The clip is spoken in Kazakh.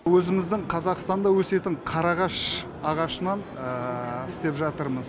өзіміздің қазақстанда өсетін қарағаш ағашынан істеп жатырмыз